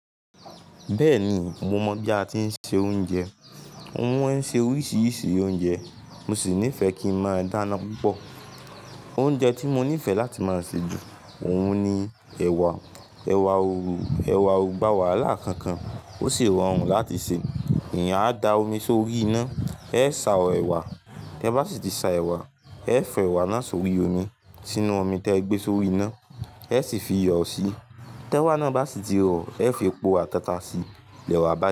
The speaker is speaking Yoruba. Bẹ́ẹ̀ni, mo mọ̀ bí a ti ń se oúnjẹ. Mo ma n ṣe oríṣìíríṣìí oúnjẹ, mo sì nífẹẹ kí ń máa dáná púpọ̀. Oúnjẹ tí mo nífẹẹ láti máa ṣe jù óún ni ẹ̀wà. Ẹ̀wà òrò, ẹ̀wà ò gbà wàhálà kankan, ó sì rọrùn láti ṣe. Èyàn á da omi sórí iná, ẹ sá ọ ẹ̀wà. Tẹ bá sì tí sá ẹ̀wà, ẹ fi ẹ̀wà náà sórí omi, sínú omi tí ẹ gbé sórí iná, ẹ sì fi iyọ̀ síi. Tẹ ewá náà bá sì tí rọ̀, ẹ fi epo ata ta síi, ìẹwà bá yẹ.